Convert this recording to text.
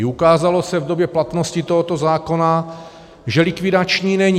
I ukázalo se v době platnosti tohoto zákona, že likvidační není.